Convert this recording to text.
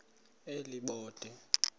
elibode